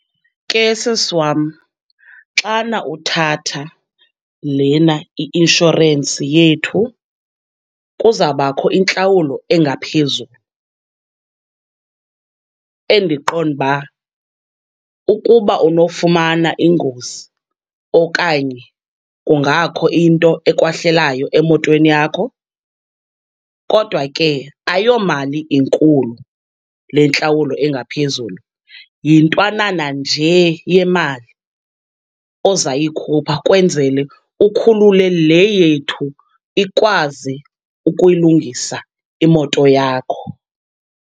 Ke sisi wam, xana uthatha lena i-inshorensi yethu, kuzabakho intlawulo engaphezulu endiqonda uba, ukuba unofumana ingozi okanye kungakho into ekwehlelayo emotweni yakho. Kodwa ke ayomali inkulu le ntlawulo engaphezulu, yintwanana nje yemali ozayikhupha kwenzele ukhulule le yethu, ikwazi ukuyilungisa imoto yakho.